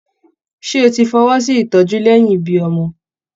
Ṣé o tí fọwọsi ìtọjú lẹyìn ibí ọmọ?